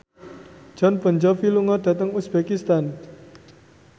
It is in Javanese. Jon Bon Jovi lunga dhateng uzbekistan